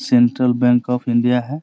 Central Bank of India है।